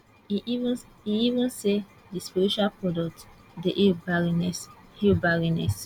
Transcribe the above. e even say di spiritual products dey heal barrenness heal barrenness